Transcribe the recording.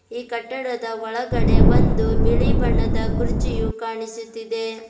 ಈ ಕಟ್ಟಡದ ಒಳಗಡೆ ಒಂದು ಬಿಳಿ ಬಣ್ಣದ ಕುರ್ಚಿಯು ಕಾಣಿಸುತ್ತಿದೆ.